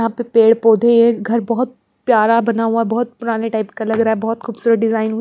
यहां पे पेड़ पौधे हैं घर बहुत प्यार बना हुआ बहुत पुराने टाइप का लग रहा बहुत खूबसूरत डिजाइन --